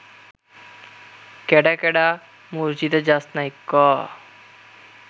কেডা কেডা মসজিদে যাস নাই ক